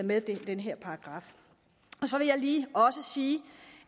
med den her paragraf så vil jeg lige også sige